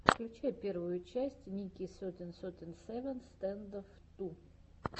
включай первую часть ники сетин сети севен стэндофф ту